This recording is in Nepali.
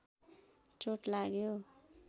चोट लाग्यो